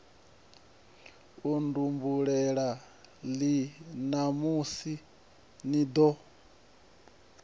nkhumbulela ii ṋamusi ni ḓo